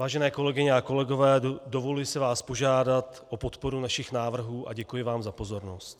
Vážené kolegyně a kolegové, dovoluji si vás požádat o podporu našich návrhů a děkuji vám za pozornost.